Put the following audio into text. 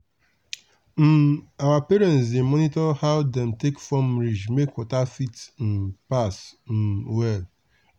um our parents dey monitor how dem dey take form ridge make water fit um pass um well.